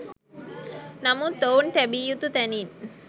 නමුත් ඔවුන් තැබිය යුතු තැනින්